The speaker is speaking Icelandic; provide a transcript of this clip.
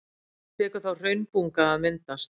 Tekur þá hraunbunga að myndast.